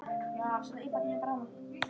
haft þeim jafnt í minnum.